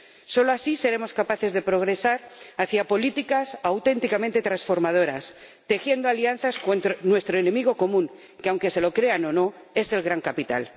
Solo así seremos capaces de progresar hacia políticas auténticamente transformadoras, tejiendo alianzas contra nuestro enemigo común que, lo crean o no, es el gran capital.